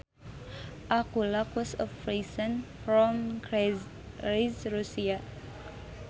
A Kulak was a peasant from czarist Russia